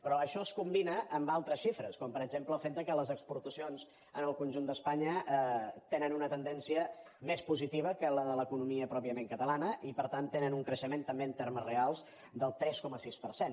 però això es combina amb altres xifres com per exemple el fet que les exportacions en el conjunt d’espanya tenen una tendència més positiva que la de l’economia pròpiament catalana i per tant tenen un creixement també en termes reals del tres coma sis per cent